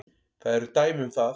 Það eru dæmi um það.